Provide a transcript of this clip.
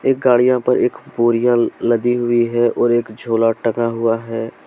एक गाड़ियां पर एक बोरियां लदी हुई हैं और एक झोला टंगा हुआ है।